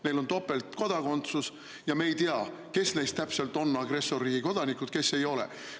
Neil on topeltkodakondsus ja me ei tea, kes neist täpselt on agressorriigi kodanikud, kes ei ole.